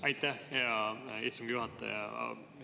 Aitäh, hea istungi juhataja!